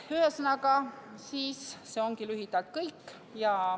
Ühesõnaga, see ongi lühidalt kõik.